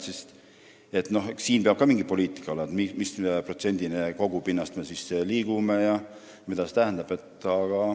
Siin peab ka olema mingi poliitika, missuguse protsendini kogupinnast me liigume ja mida see tähendab.